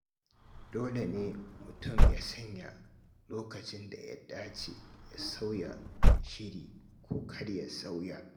Dole ne mutum ya san lokacin da ya dace ya sauya shiri ko kar ya sauya.